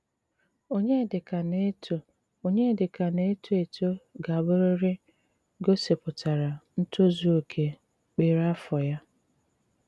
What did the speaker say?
Ọnyédíkà ná-étò Ọnyédíkà ná-étò étò gà-àbụ́rị́rị́ gósípùtárá ntòzù óké kpérè àfọ́ yá.